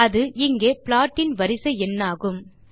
அது இங்கே ப்ளாட் இன் வரிசை எண்ணாகும்